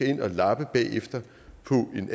ind og lapper på den